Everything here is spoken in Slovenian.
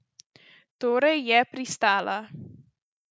Torej je pristala.